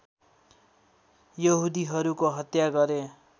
यहुदीहरूको हत्या गरे